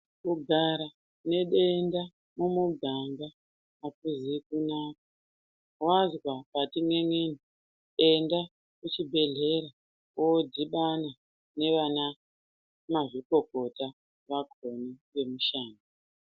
Kugara nedenda mumuganga akuzi kunaka wanzwa pati n'en'eni Enda kuchibhedhlera wodhibana nevana mazvikokota vakoni vemushando